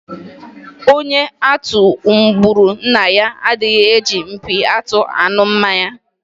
Onye atụ gburu nna ya adịghi eji mpi atụ aṅụ mmanya.